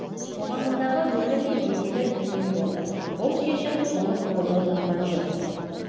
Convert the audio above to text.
қоғамындағы рөлі мен беделі төмен болды бұл шешім толық қолдау тапқан жоқ